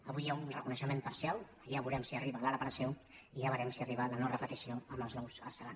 avui hi ha un reconeixement parcial ja veurem si arriba la reparació i ja veurem si arriba la no repetició amb els nous arsenals